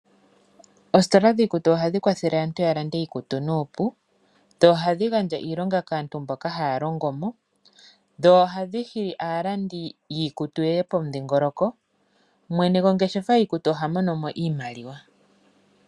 Oositola dhiikutu ohadhi kwathele aantu yalande iikutu nuupu , ohadhi gandja iilonga kaantu mboka haya longomo . Dho ohadhi hili aalandi yiikutu yeye pomudhingoloko. Mwene gongeshefa yiikutu ohamono mo iimaliwa.